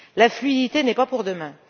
La fluidité n'est pas pour demain.